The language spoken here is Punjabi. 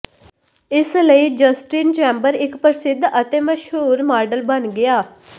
ਇਸਲਈ ਜਸਟਿਨ ਚੈਂਬਰ ਇੱਕ ਪ੍ਰਸਿੱਧ ਅਤੇ ਮਸ਼ਹੂਰ ਮਾਡਲ ਬਣ ਗਿਆ